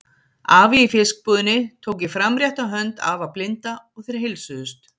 Afi í fiskbúðinni tók í framrétta hönd afa blinda og þeir heilsuðust.